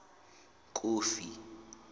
kofi